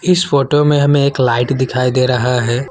इस फोटो में हमें एक लाइट दिखाई दे रहा है।